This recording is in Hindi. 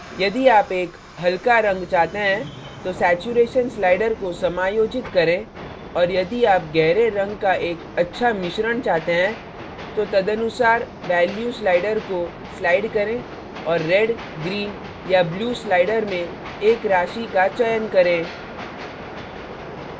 यदि आप एक हल्का रंग चाहते हैं तो saturation saturation slider को समायोजित करें और यदि आप गहरे रंग का एक अच्छा मिश्रण चाहते हैं तो तदनुसार value value slider को slider करें और red red green green या blue blue slider में एक राशि का चयन करें